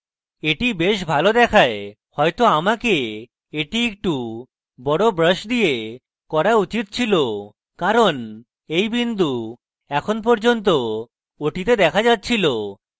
এটি brush ভালো দেখায় হয়তো আমাকে এটি একটু বড় brush দিয়ে করা উচিত ছিল কারণ এই বিন্দু এখন পর্যন্ত ওটিতে দেখা যাচ্ছিল